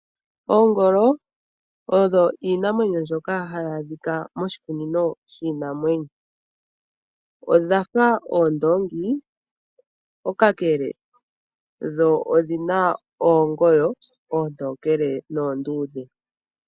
Oongolo odho iinamwenyo ndjoka ha yi adhika moshikunino shiinamwenyo, odhafa oondoongi kakele dho odhina oongoyo oontookele noonduudhe.